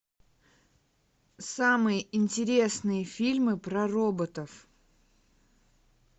самые интересные фильмы про роботов